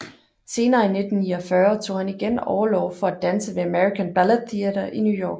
Senere i 1949 tog han igen orlov for at danse ved American Ballet Theatre i New York